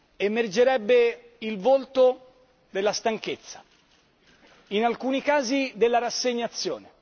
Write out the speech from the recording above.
Emergerebbe il volto della stanchezza, in alcuni casi della rassegnazione